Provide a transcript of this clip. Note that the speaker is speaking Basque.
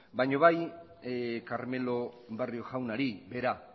baina bai carmelo barrio jaunari bera